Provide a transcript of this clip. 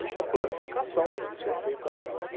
Isso é planificação que tem que ser feita antes.